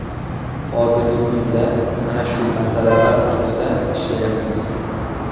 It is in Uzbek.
Hozirgi kunda mana shu masalalar ustida ishlayapmiz.